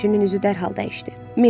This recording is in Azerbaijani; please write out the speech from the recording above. Ləpirçinin üzü dərhal dəyişdi.